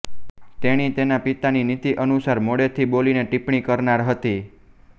તેણી તેના પિતાની નીતિ અનુસાર મોડેથી બોલીને ટિપ્પણી કરનાર હતી